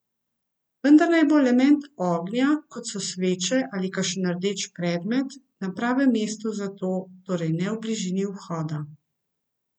Vendar naj bo element ognja, kot so sveče ali kakšen rdeč predmet, na pravem mestu za to, torej ne v bližini vhoda.